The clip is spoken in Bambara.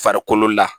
Farikolo la